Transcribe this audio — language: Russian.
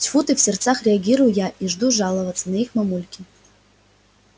тьфу ты в сердцах реагирую я и жду жаловаться на их мамульке